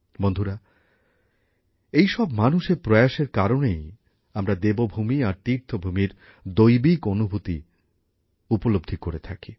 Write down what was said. বন্ধুরা এই সব মানুষের প্রয়াসএর কারণেই আমরা দেবভূমি আর তীর্থভূমির দৈবিক অনুভূতি উপলব্ধি করে থাকি